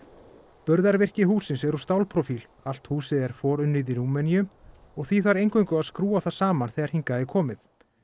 burðarvirki hússins er úr allt húsið er forunnið í Rúmeníu og því þarf eingöngu að skrúfa það saman þegar hingað er komið